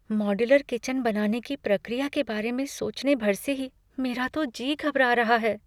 Modular kitchen बनाने की प्रक्रिया के बारे में सोचने भर से ही मेरा तो जी घबरा रहा है।